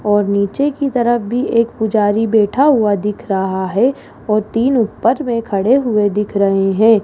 और नीचे की तरफ भी एक पुजारी बैठा हुआ दिख रहा है और तीन ऊपर में खड़े हुए दिख रहे हैं।